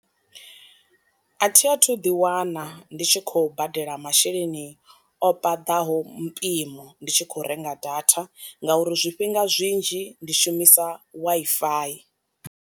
A thi a thu ḓi wana ndi tshi khou badela masheleni o paḓaho mpimo ndi tshi khou renga data ngauri zwifhinga zwinzhi ndi shumisa Wi-Fi.